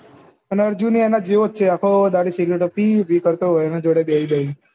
અને અજુ એમને જેવો છે આખો દારૂ સિગરેટ હતી ઉભે થથી ઉભા કરતા એનો જોડે બેહી જાઉં